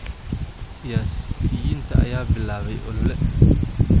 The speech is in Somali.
Siyaasiyiinta ayaa bilaabay olole